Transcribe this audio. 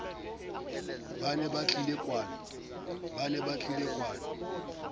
ba ne ba tlile kwano